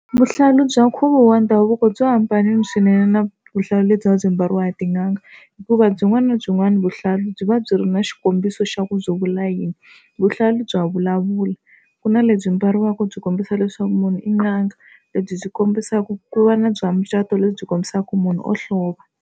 Vuhlalu bya nkhuvo wa ndhavuko byi hambanile swinene na vuhlalu lebyi va byi mbariwaka hi tin'anga hikuva byin'wana na byin'wana vuhlalu byi va byi ri na xikombiso xa ku byo vula yini. Vuhlalu bya vulavula ku na lebyi mbariwaka byi kombisa leswaku munhu i n'anga lebyi byi kombisaka ku va na bya mucato lebyi kombisaka ku munhu wo hlova.